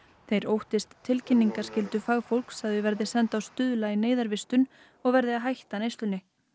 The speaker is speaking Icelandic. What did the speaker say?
þeir óttist tilkynningaskyldu fagfólks að þau verði send á Stuðla í neyðarvistun og verði að hætta neyslunni